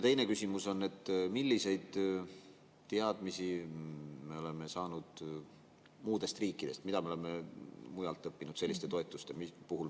Teine küsimus on, et milliseid teadmisi me oleme saanud muudest riikidest, mida me oleme mujalt õppinud selliste toetuste puhul.